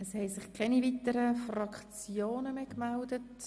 Es haben sich keine weiteren Fraktionen mehr gemeldet.